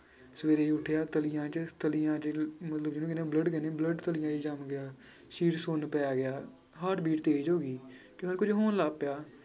ਸਵੇਰੇ ਉੱਠਿਆ ਮਤਲਬ ਜਿਹਨੂੰ ਕਹਿੰਦੇ ਹਾਂ blood ਕਹਿੰਦੇ ਹਾਂ blood ਜੰਮ ਗਿਆ, ਸਰੀਰ ਸੁੰਨ ਪੈ ਗਿਆ heart beat ਤੇਜ ਹੋ ਗਈ ਕਹਿੰਦਾ ਕੁੱਝ ਹੋਣ ਲੱਗ ਪਿਆ।